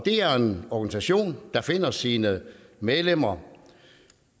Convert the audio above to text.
er en organisation der finder sine medlemmer